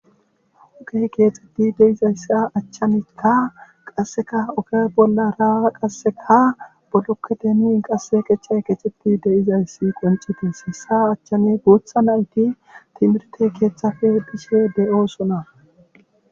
Hokey keexxetti deizayssa achchanikka qasseka oke bolla ra qasseka boddokketemin qasse qecha keexxetti deizayssi qoncites hessa achchani guutha nayti timirte keeththafe bishe de'oo suna.